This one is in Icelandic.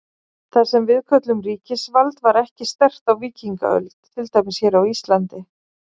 Það sem við köllum ríkisvald var ekki sterkt á víkingaöld, til dæmis hér á Íslandi.